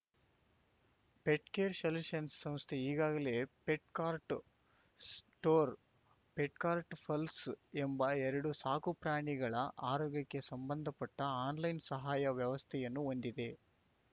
pet care solutions ಸಂಸ್ಥೆ ಈಗಾಗಲೇ Petcart store Petcart ಪಲ್ಸ ಎಂಬ ಎರಡು ಸಾಕುಪ್ರಾಣಿಗಳ ಆರೋಗ್ಯಕ್ಕೆ ಸಂಬಂಧಪಟ್ಟಆನ್‌ಲೈನ್‌ ಸಹಾಯ ವ್ಯವಸ್ಥೆಯನ್ನು ಹೊಂದಿದೆ